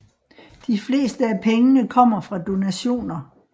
De fleste af pengene kom fra donationer